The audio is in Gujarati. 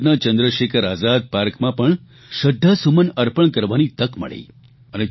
અલ્હાબાદના ચંદ્રશેખર આઝાદ પાર્કમાં પણ શ્રદ્ધાસુમન અર્પણ કરવાની તક મળી